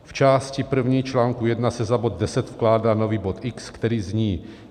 V části první článku 1 se za bod 10 vkládá nový bod X, který zní: